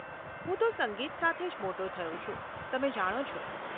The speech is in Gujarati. હું તો સંગીત સાથે જ મોટો થયો છું, તમે જાણો છો.